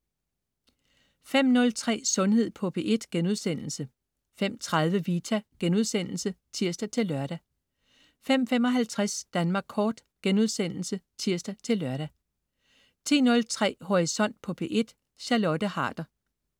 05.03 Sundhed på P1* 05.30 Vita* (tirs-lør) 05.55 Danmark Kort* (tirs-lør) 10.03 Horisont på P1. Charlotte Harder